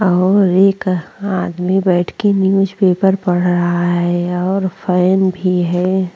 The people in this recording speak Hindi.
और एक आदमी बैठके न्यूज पेपर पढ़ रहा है और फैन भी है।